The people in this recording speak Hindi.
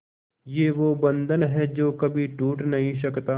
ये वो बंधन है जो कभी टूट नही सकता